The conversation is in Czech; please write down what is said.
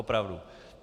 Opravdu.